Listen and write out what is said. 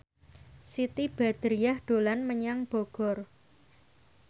Siti Badriah dolan menyang Bogor